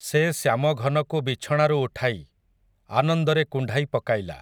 ସେ ଶ୍ୟାମଘନକୁ ବିଛଣାରୁ ଉଠାଇ, ଆନନ୍ଦରେ କୁଣ୍ଢାଇ ପକାଇଲା ।